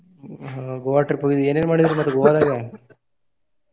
ಹ್ಮ್ Goa trip ಹೋಗಿರಿ ಏನೇನ್ ಮಾಡಿರಿ ಮತ್ತ Goa ದಾಗ .